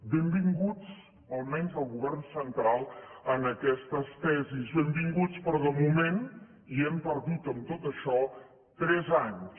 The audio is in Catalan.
benvinguts almenys el govern central a aquestes tesis benvinguts però de moment ja hem perdut amb tot això tres anys